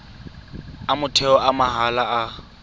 a motheo a mahala a